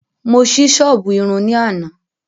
Mo sí sọ́ọ̀bù Irun ní àná